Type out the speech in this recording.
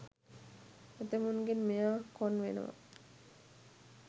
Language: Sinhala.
ඇතැමුන්ගෙන් මෙයා කොන් වෙනව.